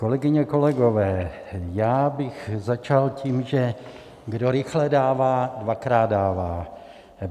Kolegyně, kolegové, já bych začal tím, že kdo rychle dává, dvakrát dává.